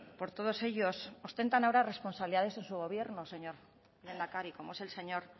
por todos ellos ostentan ahora responsabilidades en su gobierno señor lehendakari como es el señor